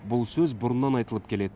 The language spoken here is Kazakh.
бұл сөз бұрыннан айтылып келеді